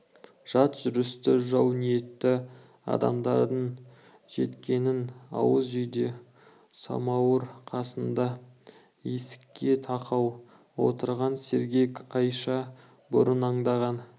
жат жүрісті жау ниетті адамдардың жеткенін ауыз үйде самауыр қасында есікке тақау отырған сергек айша бұрын аңдаған